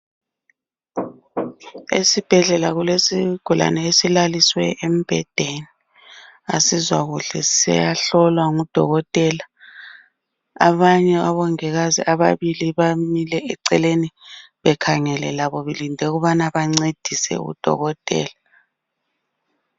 Esibhedlela kulesigulani esilaliswe embhedeni Asizwa kuhle siyahlolwa ngudokotela. Abanye omongikazi ababili bamile eceleni bekhangele labo belinde ukubana bangcedise udokotela